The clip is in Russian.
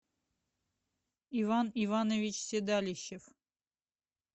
иван иванович седалищев